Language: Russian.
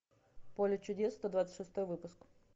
поле чудес сто двадцать шестой выпуск